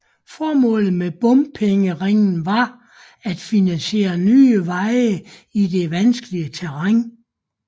Formålet med bompengeringen var at finansiere nye veje i det vanskelige terræn